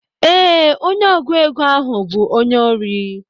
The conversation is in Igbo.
Ee, onye ọgụ égo ahụ bu onye ori.